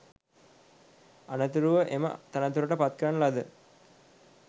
අනතුරුව එම තනතුරට පත් කරන ලද